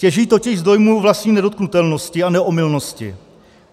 Těží totiž z dojmu vlastní nedotknutelnosti a neomylnosti.